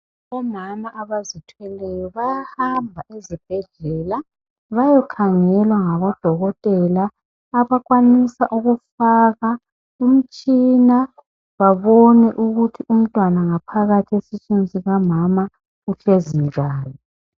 Omama abazithweleyo bayahamba ezibhedlela bayokhangelwa ngabodokotela abakwanisa ukufaka umtshina babone ukuthi umntwana ngaphakathi esiswini sikamama uhlezi njani.